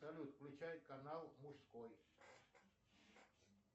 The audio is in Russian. салют включай канал мужской